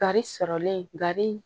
Kari sɔrɔlen gari